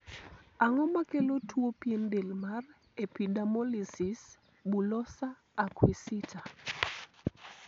ang'o makelo tuo pien del mar epidermolysis bullosa acquisita ?